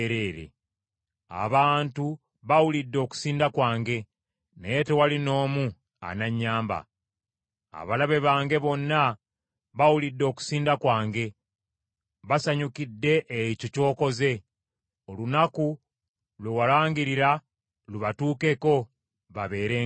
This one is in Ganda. “Abantu bawulidde okusinda kwange, naye tewali n’omu ananyamba. Abalabe bange bonna bawulidde okusinda kwange; basanyukidde ekyo ky’okoze. Olunaku lwe walangirira, lubatuukeko, babeere nga nze.